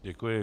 Děkuji.